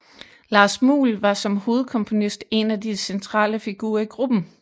Lars Muhl var som hovedkomponist en af de centrale figurer i gruppen